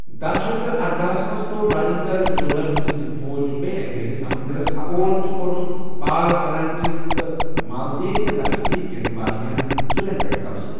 داہ شیتھ ارداہَس منز تو٘ر راجندر چولن سنٛدِ فوج بیٚیہِ اکہِ لٹہِ سمندرس اپور تہٕ كورٗن پال پلانتھیو م تہٕ مالدیو تہٕ لكشدیپ كین وارِیاہن زٗوین پیٹھ قبضہٕ ۔